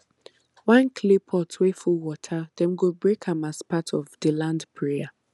one clay pot wey full water dem go break am as part of the land prayer